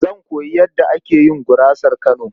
Zan koyi yadda ake yin gurasar Kano.